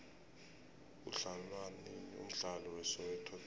udlalwanini umdlalo we soweto davi